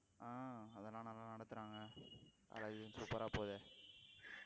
ஆஹ் அதெல்லாம் நல்லா நடத்துறாங்க college உம் super ஆ போகுதே